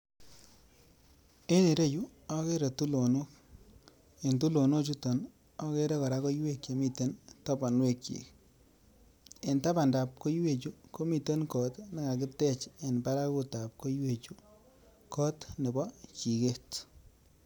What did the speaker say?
En ireyuu okere tulonok, en tulonok chutok okere koraa koiwek chemiten toponwek chik, en tapandap koiwek chuu komiten kot nekakitech en parakut tab koiwek chuu kot nebo jiket.